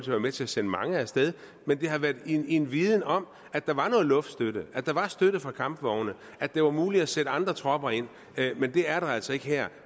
været med til at sende mange af sted men det har været med en en viden om at der var noget luftstøtte at der var støtte fra kampvogne og at det var muligt at sætte andre tropper ind men det er det altså ikke her